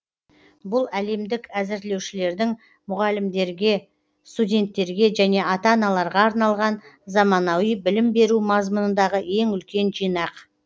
бұл әлемдік әзірлеушілердің мұғалімдерге студенттерге және ата аналарға арналған заманауи білім беру мазмұнындағы ең үлкен жинақ